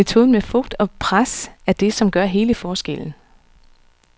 Metoden med fugt og pres er det, som gør hele forskellen.